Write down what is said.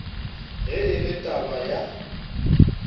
ge e le taba ya